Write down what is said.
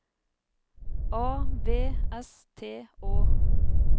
A V S T Å